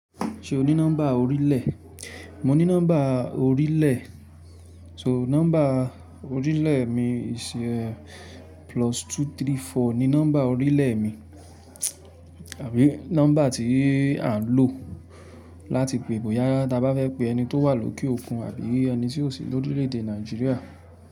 Ṣé o ní nọ́mbà orílẹ̀? Mo ní nọ́mbà orílẹ̀. So nọ́mbà orílẹ̀ mi is a plus two three four ni nọ́mbà orílẹ̀ mi àbí nọ́mbà tí à ń lò láti pe bóyá tába fẹ́ pe ẹni tó wà lókè òfun àbí ẹni tí ó sì lórílẹ̀ èdè Nàìjíríà.